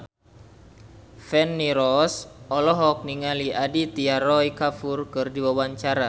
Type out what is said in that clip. Feni Rose olohok ningali Aditya Roy Kapoor keur diwawancara